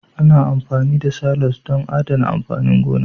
Ana amfani da silos don adana amfanin gona